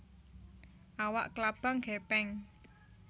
Awak klabang gèpèng